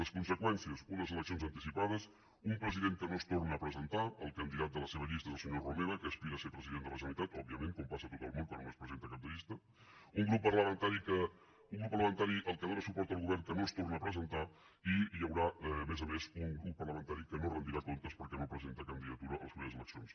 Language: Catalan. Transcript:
les conseqüències unes eleccions anticipades un pre sident que no es torna a presentar el candidat de la seva llista és el senyor romeva que aspira a ser president de la generalitat òbviament com passa a tot el món quan un es presenta de cap de llista un grup parlamentari el que dóna suport al govern que no es torna a presentar i hi haurà a més a més un grup parlamentari que no rendirà comptes perquè no presenta candidatura a les properes eleccions